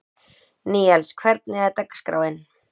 Níels, hvernig er dagskráin?